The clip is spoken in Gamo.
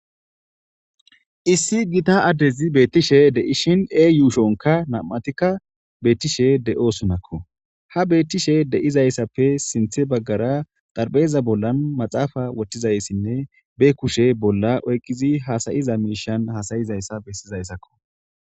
issi gita addezi beettishe deishin ee yuushonka nam7atikka beettishe de7o sunakko ha beettishe de7izayssappe sinthe baggara darbeeza bollan maxaafa wothtizayssinne be kushe bolla oyqqizi hasayiza miishan hasayizayssa bessizayssakko